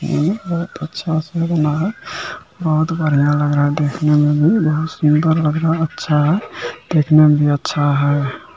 ये बहुत अच्छा-सा बना है बहुत बनिया लग रहा है देखने में भी बहुत सूंदर लग रहा है अच्छा है देखने में भी अच्छा है।